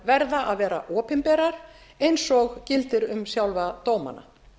verða að vera opinberar eins og gildir um sjálfa dómana